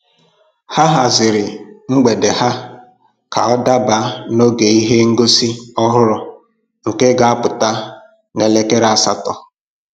Ha haziri mgbede ha ka ọ daba n'oge ihe ngosi ọhụrụ nke ga apụta n'elekere asatọ